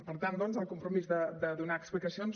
per tant doncs el compromís de donar explicacions